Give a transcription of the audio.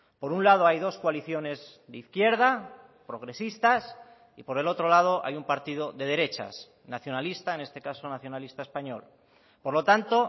por un lado hay dos coaliciones de izquierda progresistas y por el otro lado hay un partido de derechas nacionalista en este caso nacionalista español por lo tanto